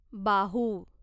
बाहू